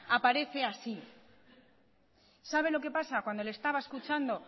aparece así sabe lo que pasa cuando le estaba escuchando